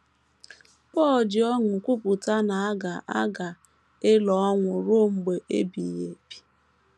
Pọl ji ọṅụ kwupụta na a ga a ga - elo ọnwụ ruo mgbe ebighị ebi.